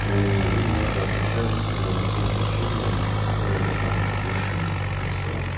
то им надо отвечать тем сообщением которое я там выше написал